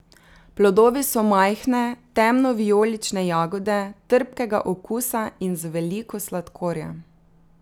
Plodovi so majhne, temnovijolične jagode, trpkega okusa in z veliko sladkorja.